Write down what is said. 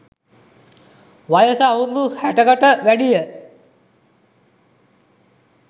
වයස අවුරුදු හැටකට වැඩිය